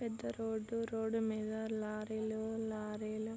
పెద్ద రోడ్డు-రోడ్డు మీద లారీ లు లారీ లు--